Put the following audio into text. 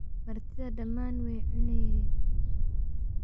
Martidha dhaman way cuneynen.